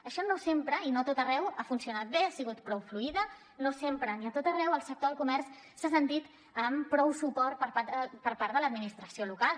això no sempre i no a tot arreu ha funcionat bé ha sigut prou fluid no sempre ni ha a tot arreu el sector del comerç s’ha sentit amb prou suport per part de l’administració local